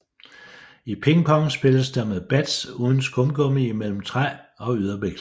I ping pong spilles der med bats uden skumgummi imellem træ og yderbeklædning